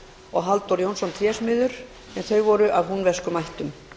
og halldór jónsson trésmiður en þau voru af húnvetnskum ættum